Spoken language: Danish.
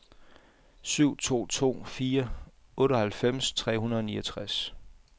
syv to to fire otteoghalvfems tre hundrede og niogtres